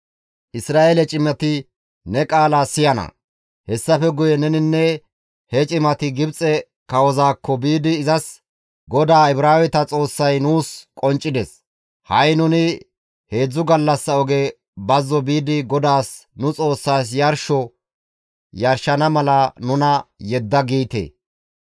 «Isra7eele cimati ne qaala siyana; hessafe guye neninne he cimati Gibxe kawozaakko biidi izas, ‹GODAA Ibraaweta Xoossay nuus qonccides. Ha7i nuni heedzdzu gallassa oge bazzo biidi GODAAS nu Xoossaas yarsho yarshana mala nuna yedda› giite.